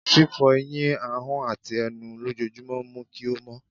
fífó eyín, ahón atí enú lòjojúmo mu kí o mó